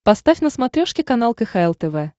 поставь на смотрешке канал кхл тв